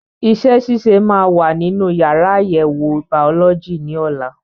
Iṣẹ́ ṣíṣe máa wà nínú yàrá àyẹ̀wò bàọ́lọ́jì ní ọ̀la.